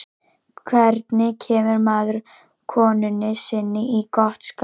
hvernig kemur maður konunni sinni í gott skap